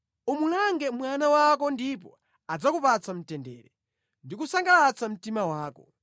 Umulange mwana wako ndipo adzakupatsa mtendere ndi kusangalatsa mtima wako.